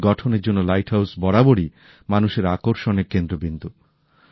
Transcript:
সুন্দর গঠনের জন্য লাইট হাউস বরাবরই মানুষের আকর্ষণের কেন্দ্রবিন্দু